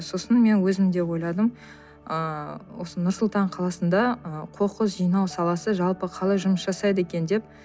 сосын мен өзім де ойладым ыыы осы нұр сұлтан қаласында ы қоқыс жинау саласы жалпы қалай жұмыс жасайды екен деп